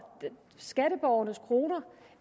skatteborgernes kroner